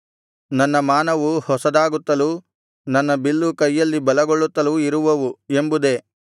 ನನ್ನ ಮಾನವು ಹೊಸದಾಗುತ್ತಲೂ ನನ್ನ ಬಿಲ್ಲು ಕೈಯಲ್ಲಿ ಬಲಗೊಳ್ಳುತ್ತಲೂ ಇರುವವು ಎಂಬುದೇ